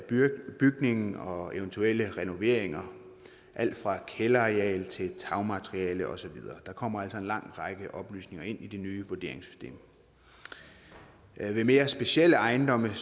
bygningen og eventuelle renoveringer af alt fra kælderareal til tagmateriale og så videre der kommer altså en lang række oplysninger ind i det nye vurderingssystem ved mere specielle ejendomme